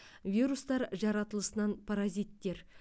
вирустар жаратылысынан паразиттер